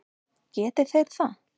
Geti þeir það?